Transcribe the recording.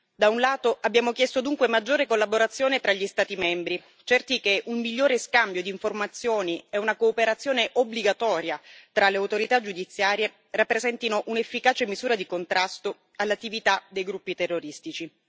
Da un lato, abbiamo chiesto dunque maggiore collaborazione tra gli Stati membri, certi che un migliore scambio di informazioni e una cooperazione obbligatoria tra le autorità giudiziarie rappresentino un'efficace misura di contrasto all'attività dei gruppi terroristici.